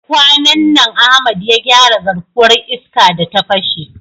Kwanan nan Ahmad ya gyara garkuwar iska da ta fashe.